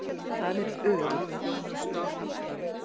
Það er öruggt.